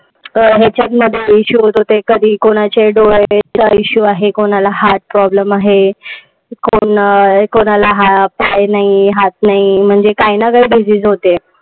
याच्यामध्ये issue होत होते, कधी कोणाच्या डोळ्याला issue आहे कोणाला heart problem आहे. कोण कोणाला पाय नाही हात नाही, म्हणजे काही ना काही disease होते.